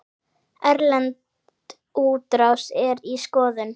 Erlend útrás er í skoðun.